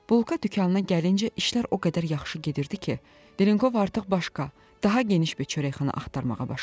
Bulka dükanına gəlincə işlər o qədər yaxşı gedirdi ki, Delenkov artıq başqa, daha geniş bir çörəkxana axtarmağa başlamışdı.